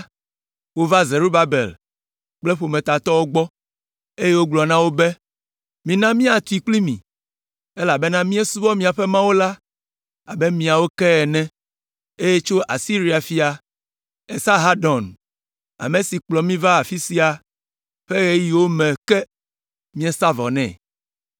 wova Zerubabel kple ƒometatɔwo gbɔ, eye wogblɔ na wo be, “Mina míatui kpli mi, elabena míesubɔa miaƒe Mawu la abe miawo ke ene, eye tso Asiria fia, Esarhadon, ame si kplɔ mi va afi sia ƒe ɣeyiɣiwo me ke míesa vɔ nɛ.”